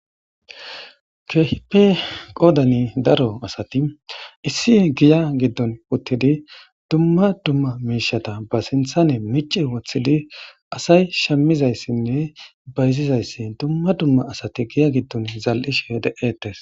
Keehipe qoodani daro asati issi giya giddon uttidi dumma dumma miishata ba sinthane mici woththidi asay shimizayssinne bayzizayssi dumma dumma asati giya giddon zal'ishe de'ettes.